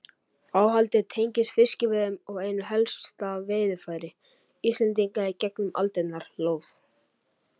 Áhaldið tengist fiskveiðum og einu helsta veiðarfæri Íslendinga í gegnum aldirnar, lóð.